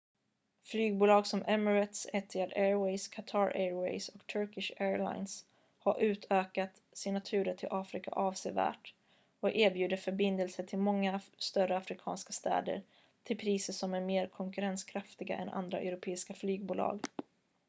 flygbolag som emirates etihad airways qatar airways och turkish airlines har utökat sina turer till afrika avsevärt och erbjuder förbindelser till många större afrikanska städer till priser som är mer konkurrenskraftiga än andra europeiska flygbolag